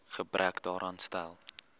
gebrek daaraan stel